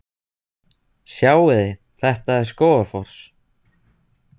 Sjáiði! Þetta er Skógafoss.